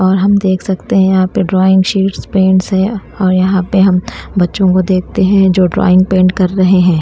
और हम देख सकते हैं यहाँ पे ड्राइंग शीट्स पेंट्स है और यहाँ पे हम बच्चों को देखते हैं जो ड्राइंग पेंट कर रहे हैं ।